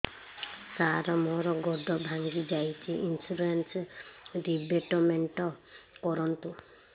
ସାର ମୋର ଗୋଡ ଭାଙ୍ଗି ଯାଇଛି ଇନ୍ସୁରେନ୍ସ ରିବେଟମେଣ୍ଟ କରୁନ୍ତୁ